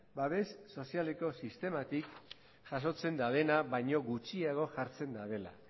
babes sozialeko sistematik jasotzen dabena baino gutxiago jartzen dabela